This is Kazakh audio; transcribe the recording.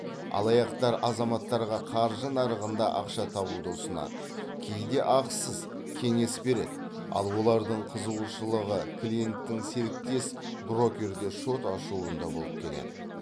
алаяқтар азаматтарға қаржы нарығында ақша табуды ұсынады кейде ақысыз кеңес береді ал олардың қызығушылығы клиенттің серіктес брокерде шот ашуында болып келеді